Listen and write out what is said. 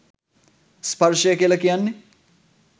ස්පර්ශය කියල කියන්නේ